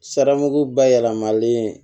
Saraku ba yɛlɛmalen